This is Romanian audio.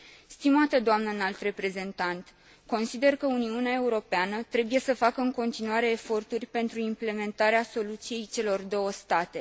Stimată doamnă Înalt Reprezentant, consider că Uniunea Europeană trebuie să facă în continuare eforturi pentru implementarea soluției celor două state.